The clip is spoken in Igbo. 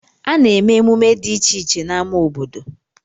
A na-eme emume dị iche iche n'ama obodo.